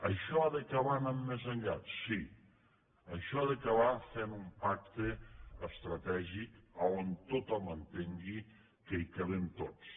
això ha d’acabar anant més enllà sí això ha d’acabar fent un pacte estratègic a on tothom entengui que hi cabem tots